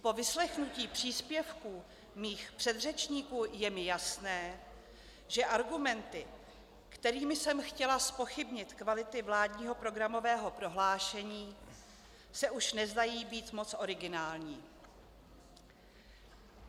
Po vyslechnutí příspěvků mých předřečníků je mi jasné, že argumenty, kterými jsem chtěla zpochybnit kvality vládního programového prohlášení, se už nezdají být moc originální.